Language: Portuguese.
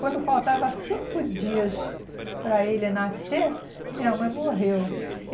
Quando faltava cinco dias para ele nascer, minha mãe morreu.